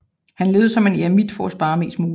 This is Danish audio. Han levede som en eremit for at spare mest muligt